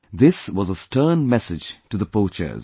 This was a stern message to the poachers